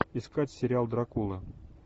искать сериал дракула